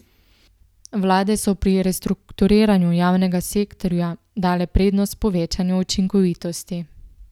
Vlade so pri prestrukturiranju javnega sektorja dale prednost povečanju učinkovitosti.